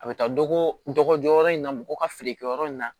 A bɛ taa dɔgɔjɔ yɔrɔ in na mɔgɔ ka feerekɛyɔrɔ in na